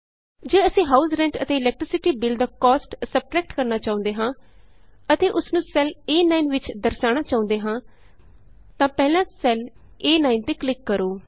ਜੇ ਅਸੀਂ house rent ਅਤੇ ਇਲੈਕਟ੍ਰੀਸਿਟੀ Billਦਾ ਕੋਸਟ ਸਬਟਰੈਕਟ ਕਰਨਾ ਚਾਹੁੰਦੇ ਹਾਂ ਅਤੇ ਉਸ ਨੂੰ ਸੈੱਲ ਏ9 ਵਿਚ ਦਰਸਾਉਣਾ ਚਾਹੁੰਦੇ ਹਾਂ ਤਾਂ ਪਹਿਲਾਂ ਸੈੱਲ ਏ9 ਤੇ ਕਲਿਕ ਕਰੋ